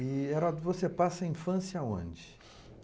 E, Heródoto, você passa a infância aonde?